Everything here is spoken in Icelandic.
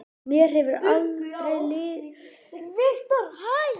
Mér hefur aldrei liðið eins vel og núna.